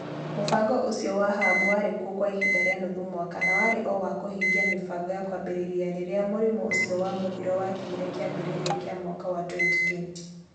Mũbango ũcio wa Hub warĩ kuo kwa ihinda rĩa nuthu mwaka na warĩ o wa kũhingia mĩbango ya kwambĩrĩria rĩrĩa mũrimũ ũcio wa mũthiro wakinyire kĩambĩrĩria kĩa mwaka wa 2020 .